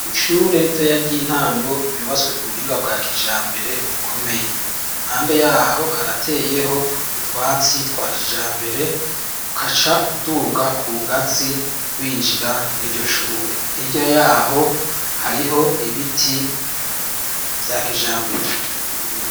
Ishure rito ya ry'intango ryubatswe ku buhinga bwa kijambere ukomeye impande yaho harateyeho utwatsi twa kijambere ukaca uduga ku ngazi winjira mw'iryo shure irya yaho hariho ibiti vya kijambere.